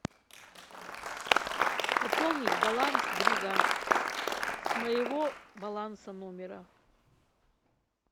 пополнить баланс друга с моего баланса номера